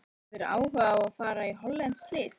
Hefðirðu áhuga á að fara í hollenskt lið?